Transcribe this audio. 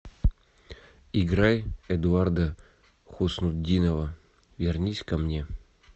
играй эдуарда хуснутдинова вернись ко мне